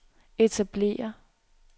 etablere